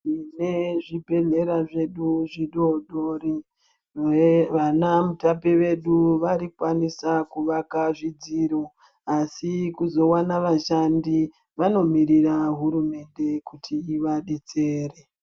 Tine zvibhedhlera zvedu zvidodori vana mutape vedu varikwanisa kuvaka zvidziro. Asi kuzovana vashandi vanomirira hurumende kuti ivabetsere.